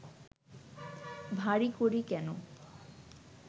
ভারি করি কেন